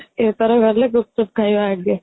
ଏଥର ଗଲେ ଗୁପ୍ଚୁପ ଖାଇବା ଆଗେ